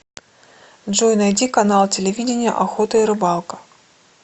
джой найди канал телевидения охота и рыбалка